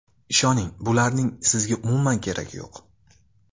Ishoning, bularning sizga umuman keragi yo‘q.